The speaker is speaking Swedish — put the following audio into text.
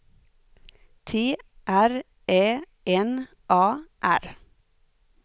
T R Ä N A R